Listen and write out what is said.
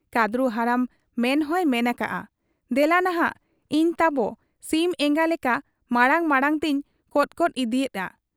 ᱠᱟᱺᱫᱽᱨᱩ ᱦᱟᱲᱟᱢ ᱢᱮᱱᱦᱚᱸᱭ ᱢᱮᱱ ᱟᱠᱟᱜ ᱟ, 'ᱫᱮᱞᱟᱱᱷᱟᱜ ᱤᱧ ᱛᱟᱵᱤ ᱥᱤᱢ ᱮᱸᱜᱟ ᱞᱮᱠᱟ ᱢᱟᱬᱟᱝ ᱢᱟᱬᱟᱝ ᱛᱮᱧ ᱠᱚᱫ ᱠᱚᱫ ᱤᱫᱤᱜᱮᱜ ᱟ ᱾